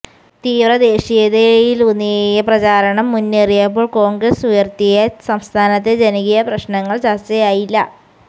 തീവ്ര ദേശീയതയിലൂന്നിയ പ്രചാരണം മുന്നേറിയപ്പോൾ കോൺഗ്രസ് ഉയർത്തിയ സംസ്ഥാനത്തെ ജനകീയ പ്രശ്നങ്ങൾ ചർച്ചയായില്ല